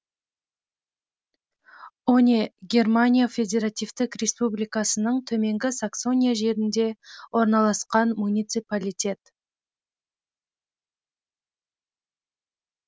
оне германия федеративтік республикасының төменгі саксония жерінде орналасқан муниципалитет